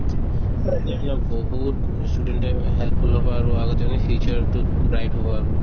তেতিয়াহ'লে বহুত student য়ে helpful হ'ব আৰু আগত যেনে future তোত bright হ'ব আৰু